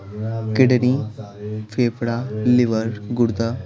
kidney फेफड़ा liver गुर्दा--